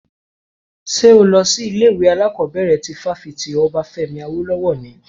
Ṣo lọ sí ilé ìwé alákọ̀bẹ̀rẹ̀ ti fáfitì Obafemi Awolowo ni?